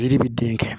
Yiri bi den kɛ